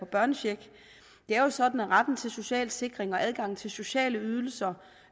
børnechecken det er jo sådan at retten til social sikring og adgangen til sociale ydelser